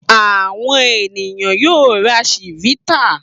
Àwọn ènìyàn yóò ra Chivita.